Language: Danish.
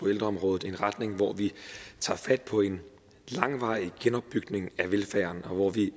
ældreområdet en retning hvor vi tager fat på en langvarig genopbygning af velfærden og hvor vi